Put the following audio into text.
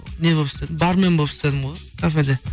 не болып істедім бармен болып істедім ғой кафеде